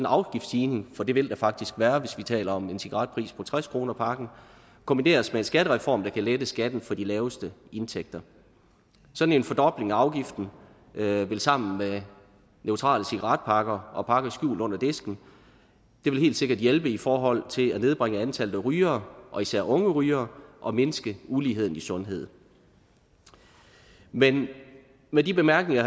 afgiftsstigning og det vil der faktisk være hvis vi taler om en cigaretpris på tres kroner pakken kombineres med en skattereform der kan lette skatten for de laveste indtægter sådan en fordobling af afgiften vil sammen med neutrale cigaretpakker og pakker skjult under disken helt sikkert hjælpe i forhold til at nedbringe antallet af rygere især unge rygere og mindske uligheden i sundhed men med de bemærkninger